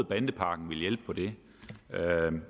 bandepakken ville hjælpe på det